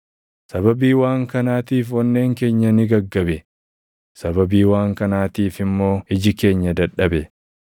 Sababii waan kanaatiif onneen keenya ni gaggabe; sababii waan kanaatiif immoo iji keenya dadhabe;